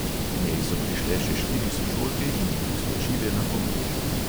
K njej so prišle še štiri sošolke in ji priskočile na pomoč.